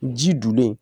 Ji dunlen